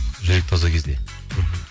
жүрек таза кезде мхм